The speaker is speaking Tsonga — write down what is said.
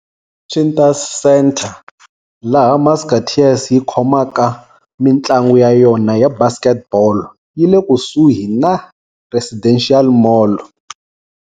Cintas Center, laha Musketeers yi khomaka mintlangu ya yona ya basketball, yi le kusuhi na Residential Mall.